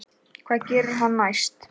Hvað gerir hann næst?